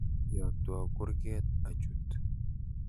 Yotwo kurget achut.